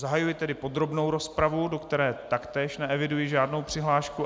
Zahajuji tedy podrobnou rozpravu, do které taktéž neeviduji žádnou přihlášku.